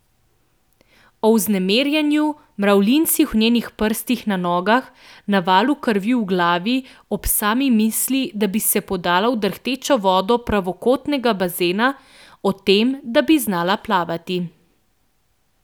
O vznemirjenju, mravljincih v njenih prstih na nogah, navalu krvi v glavi ob sami misli, da bi se podala v drhtečo vodo pravokotnega bazena, o tem, da bi znala plavati.